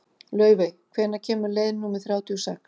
Laufey, hvenær kemur leið númer þrjátíu og sex?